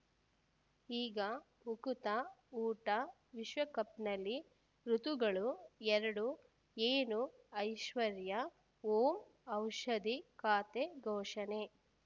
ಈಗ ಉಕುತ ಊಟ ವಿಶ್ವಕಪ್‌ನಲ್ಲಿ ಋತುಗಳು ಎರಡು ಏನು ಐಶ್ವರ್ಯಾ ಓಂ ಔಷಧಿ ಖಾತೆ ಘೋಷಣೆ